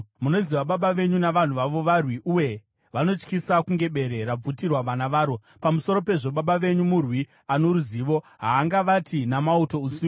Munoziva baba venyu navanhu vavo; varwi, uye vanotyisa kunge bere rabvutirwa vana varo. Pamusoro pezvo, baba venyu murwi ano ruzivo; havangavati namauto usiku.